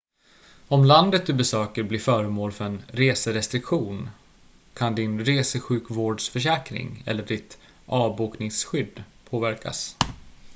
om landet du besöker blir föremål för en reserestriktion kan din resesjukvårdsförsäkring eller ditt avbokningsskydd påverkas